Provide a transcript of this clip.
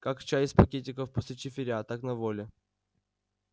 как чай из пакетиков после чифиря так на воле